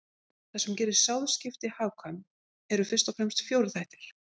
Það sem gerir sáðskipti hagkvæm eru fyrst og fremst fjórir þættir.